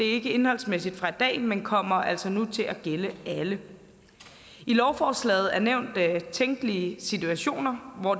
ikke indholdsmæssigt fra i dag men kommer altså nu til at gælde alle i lovforslaget er nævnt tænkelige situationer hvor